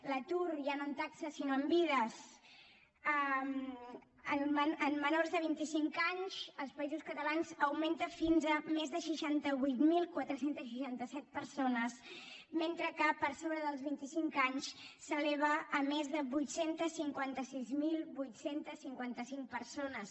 l’atur ja no en taxes sinó en vides en menors de vint i cinc anys als països catalans augmenta fins a més de seixanta vuit mil quatre cents i seixanta set persones mentre que per sobre dels vint i cinc anys s’eleva a més de vuit cents i cinquanta sis mil vuit cents i cinquanta cinc persones